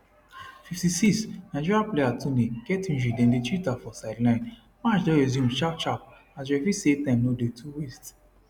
56 nigeria player toni get injury dem dey treat her for sideline match don resume sharp sharp as referee say time no dey to waste